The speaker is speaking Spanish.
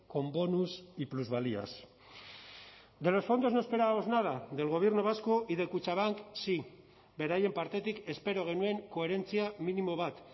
con bonus y plusvalías de los fondos no esperábamos nada del gobierno vasco y de kutxabank sí beraien partetik espero genuen koherentzia minimo bat